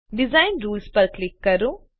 design rules પર click કરો